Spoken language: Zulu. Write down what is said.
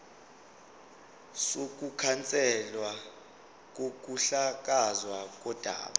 sokukhanselwa kokuhlakazwa kodaba